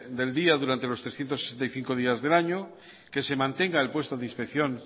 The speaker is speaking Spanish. del día durante los trescientos sesenta y cinco días del año que se mantenga el puesto discreción